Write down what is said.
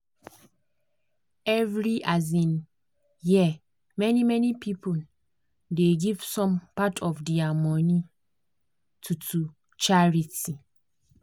every um year many-many people dey give some part of dia money to to charity.